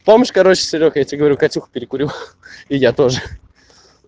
помнишь короче серёг я тебе говорил катюху перекурил и я тоже